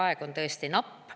Aeg on tõesti napp.